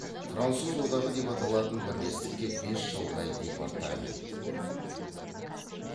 француз одағы деп аталатын бірлестікке бес шалғай департамент